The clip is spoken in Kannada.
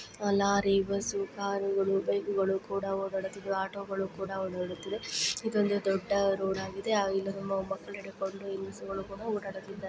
ಅ ಲಾರಿ ಬಸ್ಸು ಕಾರುಗಳು ಬೈಕುಗುಳು ಕೂಡ ಓಡಾಡುತ್ತಿದ್ವು ಆಟೋಗುಳು ಕೂಡ ಓಡಾಡುತ್ತಿದೆ ಇದೊಂದು ದೊಡ್ಡ ರೋಡ್ ಆಗಿದೆ ಆ ಇಲ್ ಒಬ್ರ್ ಮಕ್ಕಳ್ ಹಿಡ್ಕೊಂಡು ಹೆಂಗ್ಸ್ರುಗುಳು ಕೂಡ ಓಡಾಡುತ್ತಿದ್ದಾರೆ.